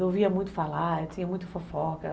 Eu ouvia muito falar, tinha muita fofoca.